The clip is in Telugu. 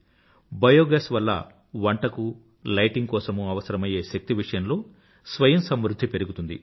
బయో గ్యాస్ వల్ల వంటకూ లైటింగ్ కోసమూ అవసరమయ్యే శక్తి విషయంలో స్వయం సమృధ్ధి పెరుగుతుంది